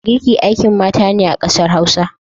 Girki aikin mata ne a kasar Hausa.